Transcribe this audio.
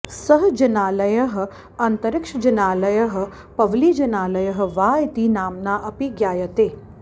सः जिनालयः अन्तरिक्षजिनालयः पवलीजिनालयः वा इति नाम्ना अपि ज्ञायते